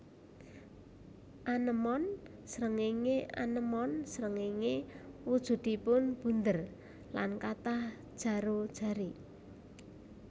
Anémon srengéngé anémon srengéngé wujudipun bunder lan kathah jaro jari